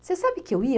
Você sabe que eu ia?